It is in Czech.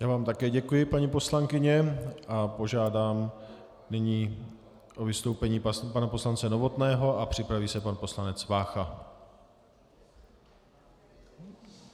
Já vám také děkuji, paní poslankyně, a požádám nyní o vystoupení pana poslance Novotného a připraví se pan poslanec Vácha.